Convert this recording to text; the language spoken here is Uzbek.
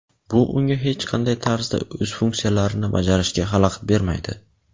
bu unga hech qanday tarzda o‘z funksiyalarini bajarishga xalaqit bermaydi.